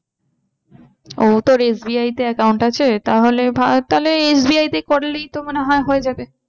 ও তোর SBI তে account আছে? তাহলে তাহলে SBI তে করলেই তো মনে হয় হয়ে যাবে।